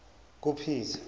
kupeter